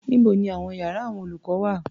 Níbo ni àwọn iyàrá àwọn olùkọ́ wà?